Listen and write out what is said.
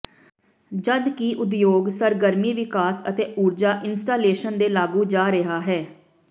ਜਦਕਿ ਉਦਯੋਗ ਸਰਗਰਮੀ ਵਿਕਾਸ ਅਤੇ ਊਰਜਾ ਇੰਸਟਾਲੇਸ਼ਨ ਦੇ ਲਾਗੂ ਜਾ ਰਿਹਾ ਹੈ